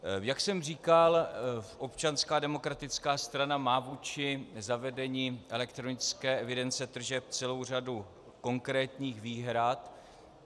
Jak jsem říkal, Občanská demokratická strana má vůči zavedení elektronické evidence tržeb celou řadu konkrétních výhrad.